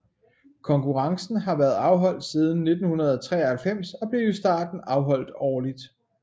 Konkurrencen har været afholdt siden 1993 og blev i starten afholdt årligt